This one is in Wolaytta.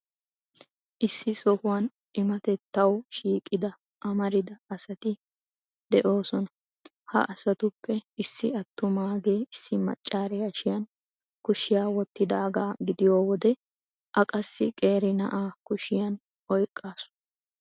Issi sohuwan cimmatettawu shiiqida amarida asati de'oosona. Ha asatuppe issi attumaagee issi maccaari hashiyan kushiya wottidaaga gidiyo wode a qassi qeeri na'aa kushiya oyqqaasu.